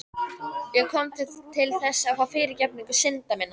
Ég kom til þess að fá fyrirgefningu synda minna.